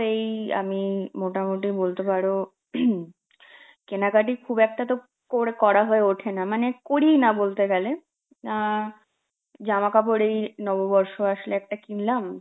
এই আমি মোটামুটি বলতে পারো কেনাকাটির খুব একটা তো করে~ করা হয়ে ওঠে না মানে করি না বলতে গেলে, আঁ জামাকাপড় এই নববর্ষ আসলে একটা কিনলাম,